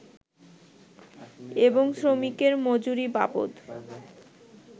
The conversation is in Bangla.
এবং শ্রমিকের মজুরি বাবদ